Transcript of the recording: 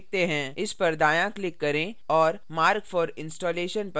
इस पर दायाँclick करें और mark for installation पर click करें